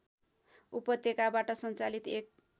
उपत्यकाबाट सञ्चालित एक